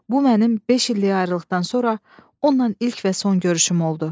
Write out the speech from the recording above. Bu mənim beş illik ayrılıqdan sonra onunla ilk və son görüşüm oldu.